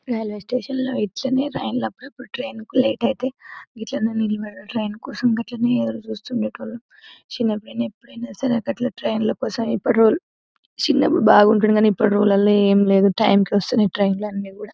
Railway station లో rails అన్ని ఎప్పుడు టైం కి లేట్ అవుతాయి గిట్లనే నిలబడుదు రైల్ కోసం గిట్లనే ఎదురుచూస్తుండోళ్ళం చిన్నప్పుడైనా ఎప్పుడైనా సరే గట్ల ట్రైన్ల కోసం అప్పుడు చిన్నప్పుడు బాగుండే ఇప్పట్టులాల్లో ఏమిలేదు టైం కి వస్తున్నది ట్రైన్లు అన్ని కుడా.